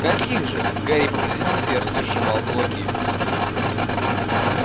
каких же гарри по-прежнему с яростью сжимал кулаки